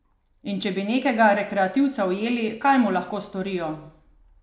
In če bi nekega rekreativca ujeli, kaj mu lahko storijo?